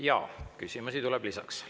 Jaa, küsimusi tuleb lisaks.